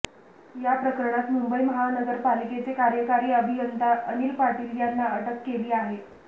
या प्रकरणात मुंबई महानगरपालिकेचे कार्यकारी अभियंता अनिल पाटील यांना अटक केली आहे